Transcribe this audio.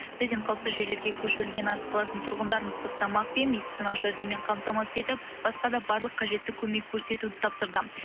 президент қауіпсіз жерлерге көшірілген арыс қаласының тұрғындарын ыстық тамақ пен медициналық жәрдеммен қамтамасыз етіп басқа да барлық қажетті көмек көрсетуді тапсырды